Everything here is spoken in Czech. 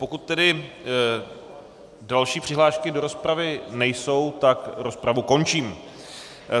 Pokud tedy další přihlášky do rozpravy nejsou, tak rozpravu končím.